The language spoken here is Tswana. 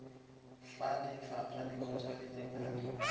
fa lefapha le kgotsofetse ka